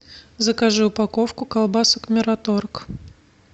закажи упаковку колбасок мираторг